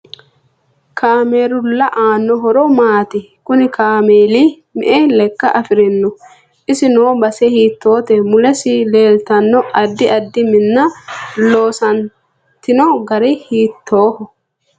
Kaamerlu aano horo maati kunni kaameeli me'e leekka afirinoho isi noo base hiitoote mulesi leeltanno addi addi minna loosantino gari hiitooho